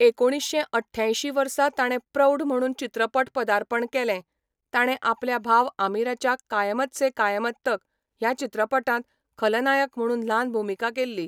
एकुणीश्शें अठ्यांयशीं वर्सा ताणें प्रौढ म्हणून चित्रपट पदार्पण केलें, ताणें आपल्या भाव आमिराच्या कायमत से कायमत तक ह्या चित्रपटांत खलनायक म्हणून ल्हान भुमिका केल्ली.